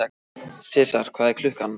Sesar, hvað er klukkan?